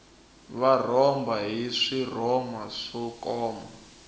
va rhomba hi swirhoma swo koma